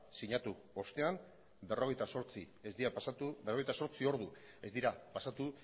sinatu ostean berrogeita zortzi ordu ez dira pasatu